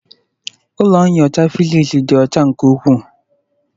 Ụlọ nyocha physics dị ọcha nke ukwuu